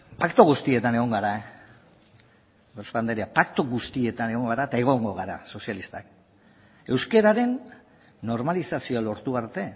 paktu guztietan egon gara eta egongo gara sozialistak euskararen normalizazioa lortu arte